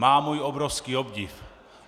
Má můj obrovský obdiv!